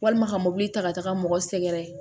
Walima ka mɔbili ta ka taa mɔgɔ sɛgɛrɛ